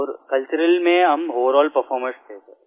और कल्चरल में हम ओवरअलपरफॉर्मर्स थे सिर